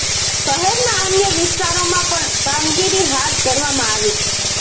શહેરના અન્ય વિસ્તારોમાં પણ કામગીરી હાથ ધરવામાં આવી છે